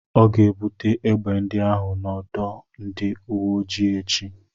Ọ ga-ebute egbe ndị ahụ n'ọdọ ndị uwe ojii echi.